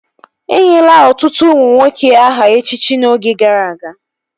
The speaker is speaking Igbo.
Enyela ọtụtụ ụmụ nwoke aha echichi n'oge gara aga